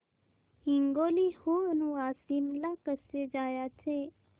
हिंगोली हून वाशीम ला कसे जायचे